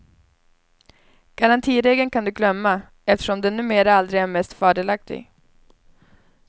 Garantiregeln kan du glömma, eftersom den numera aldrig är mest fördelaktig.